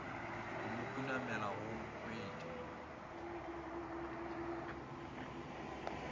go mo khunamela go nkweša